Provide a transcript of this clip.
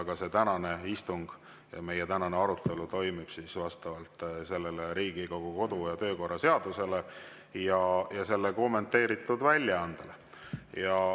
Ka see tänane istung ja meie tänane arutelu toimuvad vastavalt Riigikogu kodu‑ ja töökorra seadusele ja selle kommenteeritud väljaandele.